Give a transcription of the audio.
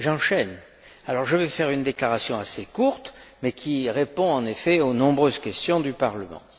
J'enchaîne donc et je vais faire une déclaration assez courte mais qui répond aux nombreuses questions du Parlement.